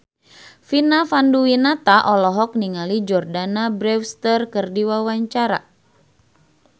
Vina Panduwinata olohok ningali Jordana Brewster keur diwawancara